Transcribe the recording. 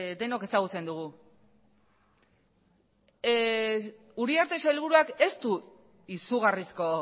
denok ezagutzen dugu uriarte sailburuak ez du izugarrizko